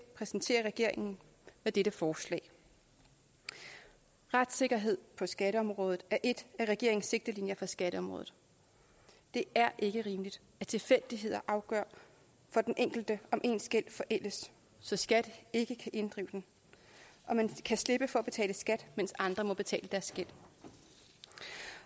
præsenterer regeringen med dette forslag retssikkerhed på skatteområdet er et af regeringens sigtelinjer for skatteområdet det er ikke rimeligt at tilfældigheder afgør for den enkelte om ens gæld forældes så skat ikke kan inddrive den og man kan slippe for at betale skat mens andre må betale deres gæld